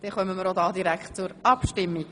Somit kommen wir direkt zur Abstimmung.